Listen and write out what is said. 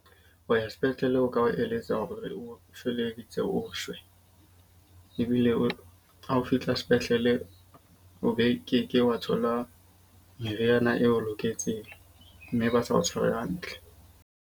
Ho ya sepetlele ho ka o eletsa hore o feleditse o shwe. Ebile o ha o fihla sepetlele o be ke ke wa thola meriana eo loketseng mme ba sa o tshware hantle.